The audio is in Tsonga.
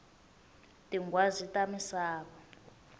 tinghwazi ta misava